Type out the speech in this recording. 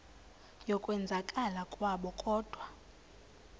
yokwenzakala kwabo kodwa